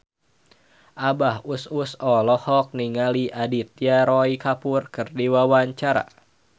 Abah Us Us olohok ningali Aditya Roy Kapoor keur diwawancara